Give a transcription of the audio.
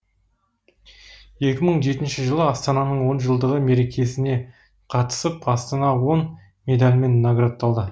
екі мың жетінші жылы астананың он жылдығы мерекесіне қатысып астана он медалімен наградталған